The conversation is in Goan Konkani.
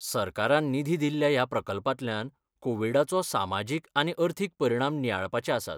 सरकारान निधी दिल्ल्या ह्या प्रकल्पांतल्यान कोविडाचो सामाजीक आनी अर्थीक परिणाम नियाळपाचे आसात.